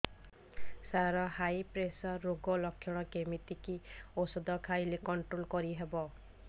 ସାର high pressure ରୋଗର ଲଖଣ କେମିତି କି ଓଷଧ ଖାଇଲେ କଂଟ୍ରୋଲ କରିହେବ